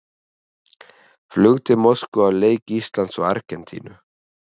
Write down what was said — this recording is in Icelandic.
Flug til Moskvu á leik Íslands og Argentínu.